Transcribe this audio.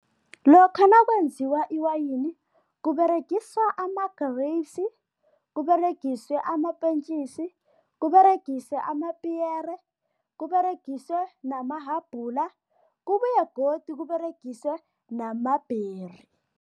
Lokha nakwenziwa iwayini kUberegiswa ama-grapes, kUberegiswe amapentjisi, kUberegiswe amapiyere, kUberegiswe namahabhula kubuye godu kUberegiswe nama-berry.